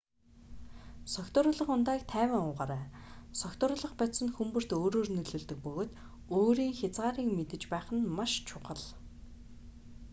согтууруулах ундааг тайван уугаарай согтууруулах бодис нь хүн бүрд өөрөөр нөлөөлдөг бөгөөд өөрийн хязгаарыг мэдэж байх нь маш чухал